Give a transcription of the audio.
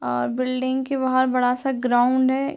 और बिल्डिंग के बाहर बड़ा सा ग्राउंड है।